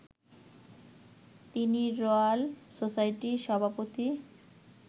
তিনি রয়াল সোসাইটির সভাপতি